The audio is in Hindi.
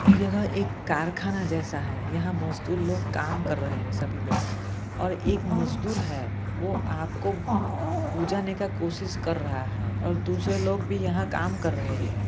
यह एक कारखाना जैसा है यह मजदूर लोग कम कर रहे हे सभी लोग और एक मजदूर हे वो आग को बुजाने का कोशिष कर रहा है और दूसरे लोग भी यहा कम कर रहे है।